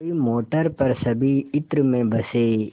कोई मोटर पर सभी इत्र में बसे